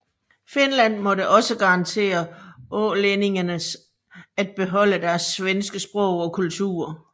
Finland måtte også garantere ålændingene at beholde deres svenske sprog og kultur